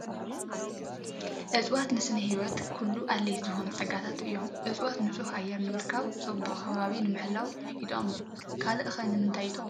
እፅዋት ንስነ ህይወት ኩሉ ኣድለይቲ ዝኾኑ ፀጋታት እዮም፡፡ እፅዋት ንፁህ ኣየር ንምርካብ፣ ፅባቐ ከባቢ ንምሕላው ይጠቕሙ፡፡ ካልእ ከ ንምንታይ ይመቅሙ?